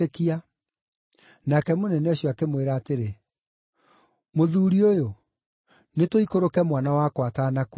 Nake mũnene ũcio akĩmwĩra atĩrĩ, “Mũthuuri ũyũ, nĩtũikũrũke mwana wakwa atanakua.”